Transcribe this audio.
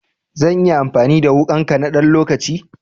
Zan iya amfani da wuƙanka na ɗan lokaci?